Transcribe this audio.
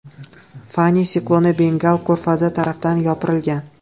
Fani sikloni Bengal ko‘rfazi tarafdan yopirilgan.